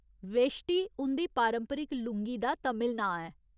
वेश्टि उं'दी पारंपरिक लुंगी दा तमिल नांऽ ऐ।